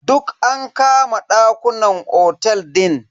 Duk an kama ɗakunan otel din.